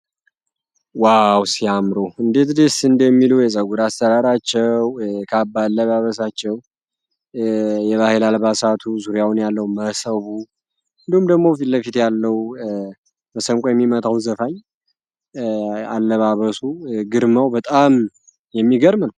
ዋው ሲያምሩ እንዴት እንደሚለው አሰራራቸው አልባሳቱ ዙሪያውን ያለው የሚመጣው ዘፋኝ አለባበሱ ግርማው በጣም የሚገርም